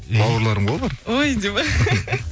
бауырларым ғой олар ой дейді ме